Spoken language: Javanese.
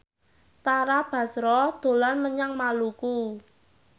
Tara Basro dolan menyang Maluku